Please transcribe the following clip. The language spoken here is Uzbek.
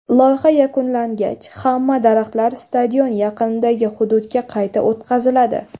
Loyiha yakunlangach, hamma daraxtlar stadion yaqinidagi hududga qayta o‘tqaziladi.